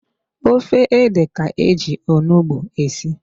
Ofe ede ka-eji onugbu esi.